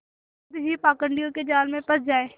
खुद ही पाखंडियों के जाल में फँस जाए